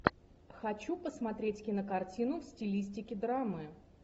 хочу посмотреть кинокартину в стилистике драмы